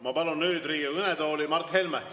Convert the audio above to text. Ma palun nüüd Riigikogu kõnetooli Mart Helme.